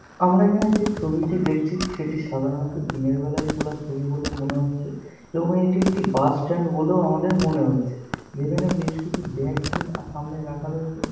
আমরা এখানে যে ছবিটি দেখছি সেটি সাধারণত দিনের বেলায় তোলা ছবি বলে মনে হচ্ছে এবং এটি একটি বাস স্ট্যান্ড বলেও আমাদের মনে হচ্ছে। যেখানে বেশ কিছু ব্যাগ এখানে সামনে রাখা রয়েছে।